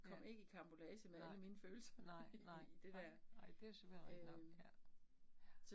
Ja, nej, nej nej nej nej, det jo selvfølelig rigtig nok, ja, ja